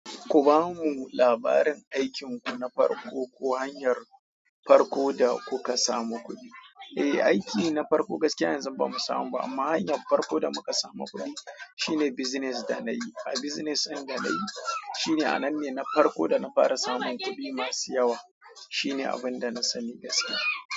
Ku bamu labarin aikinku na farko ko hanyar farko da kuka samu kuɗi. Eh, aiki na farko gaskiya yanzun ba mu samu ba amma hanyar farko da muka samu kuɗi shine bizines da na yi. A bizines in da na yi shine a nan ne na farko da na fara samun kuɗi masu yawa. Shine abin da na sani gaskiya.